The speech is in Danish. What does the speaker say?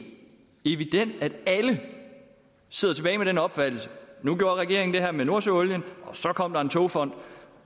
evident at alle sidder tilbage med den opfattelse nu gjorde regeringen det her med nordsøolien og så kom der en togfond